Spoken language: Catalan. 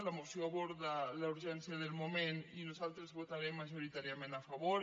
la moció aborda la urgència del moment i nosaltres hi votarem majoritàriament a favor